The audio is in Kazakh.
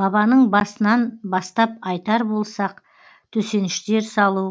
бабаның басынан бастап айтар болсақ төсеніштер салу